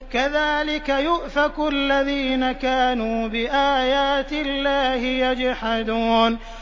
كَذَٰلِكَ يُؤْفَكُ الَّذِينَ كَانُوا بِآيَاتِ اللَّهِ يَجْحَدُونَ